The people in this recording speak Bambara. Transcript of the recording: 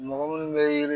Mɔgɔ minnu bɛ